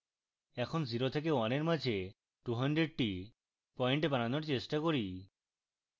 এখন 0 এবং 1 এর মাঝে 200 try পয়েন্ট বানানোর চেষ্টা করি